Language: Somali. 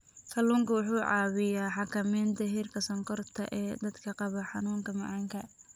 Kalluunku waxa uu caawiyaa xakamaynta heerka sonkorta ee dadka qaba xanuunka macaanka.